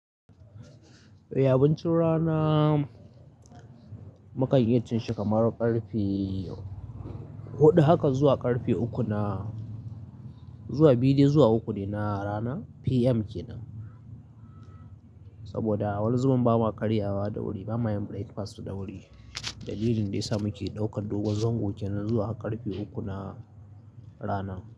Eh abincin rana, mu kan iya cin shi kamar karfe huɗu haka zuwa karfe uku na, zuwa biyu de zuwa uku ne na rana PM kenan. Saboda wani zubin ba ma karya ba da wuri, ba ma yin breakfast da wuri. Dalilin da ya sa muke ɗaukar dogon zango kenan zuwa har karfe uku na rana.